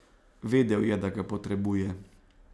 Vedel je, da ga potrebuje.